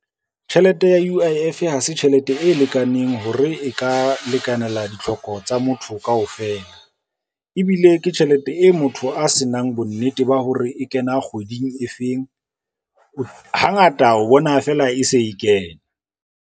Tjhelete ya U_I_F ha se tjhelete e lekaneng hore e ka lekanela ditlhoko tsa motho kaofela, ebile ke tjhelete e motho a se nang bonnete ba hore e kena kgweding e feng, hangata o bona fela e se e kena.